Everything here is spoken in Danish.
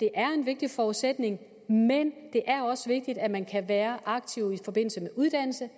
er en vigtig forudsætning men det er også vigtigt at man kan være aktiv i forbindelse med uddannelse